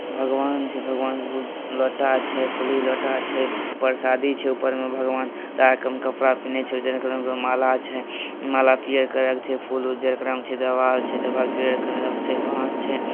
भगवान छै भगवान के लोटा छै फुली लोटा छै परसादी छैऊपर में भगवान लाल कम कपड़ा पइने छै गले में माला छै माला पियर कलर छै फूल उजर कलर में छै देवाल छै देवाल पियर कलर मे छैबास छै।